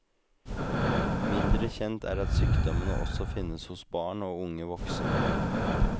Mindre kjent er at sykdommene også finnes hos barn og unge voksne.